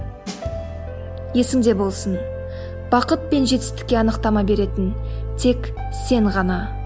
есіңде болсын бақыт пен жетістікке анықтама беретін тек сен ғана